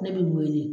Ne bɛ n wele